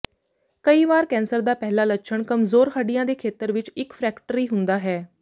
ਕਈ ਵਾਰ ਕੈਂਸਰ ਦਾ ਪਹਿਲਾ ਲੱਛਣ ਕਮਜ਼ੋਰ ਹੱਡੀਆਂ ਦੇ ਖੇਤਰ ਵਿੱਚ ਇੱਕ ਫ੍ਰੈਕਟਰੀ ਹੁੰਦਾ ਹੈ